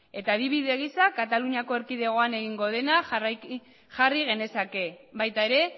eta adibide gisa kataluniako erkidegoan egingo dena jarri genezake baita ere